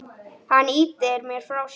Hann ýtir mér frá sér.